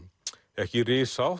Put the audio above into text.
ekki